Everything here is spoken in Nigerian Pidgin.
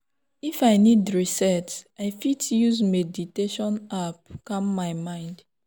if i need reset i fit use meditation app calm my mind.